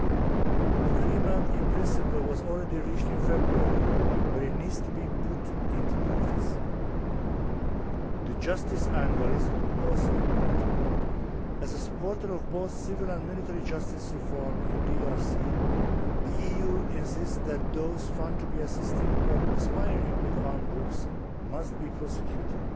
An agreement in principle was realised in February, but it needs to be put into practice. The justice angle is also important. As a supporter of both civil and military justice reform in DRC, the EU insists that those found to be assisting or conspiring with armed groups must be prosecuted.